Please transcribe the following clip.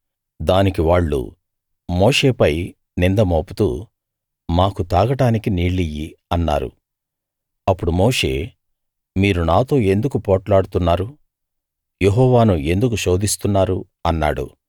దానికి వాళ్ళు మోషే పై నింద మోపుతూ మాకు తాగడానికి నీళ్లియ్యి అన్నారు అప్పుడు మోషే మీరు నాతో ఎందుకు పోట్లాడుతున్నారు యెహోవాను ఎందుకు శోధిస్తున్నారు అన్నాడు